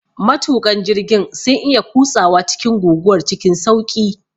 Matuƙan jirgin sun iya kutsawa cikin guguwar cikin sauƙi.